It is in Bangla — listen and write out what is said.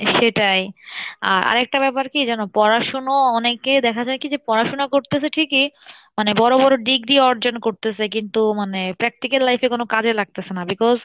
সেটাই, আহ আরেকটা ব্যাপার কী জানো, পড়াশুনো অনেকে দেখা যাই কী যে পড়াশোনা করতেছে ঠিকই মানে বড় বড় degree অর্জন করতেছে কিন্তু মানে practical life এ কোনো কাজে লাগতেসে না because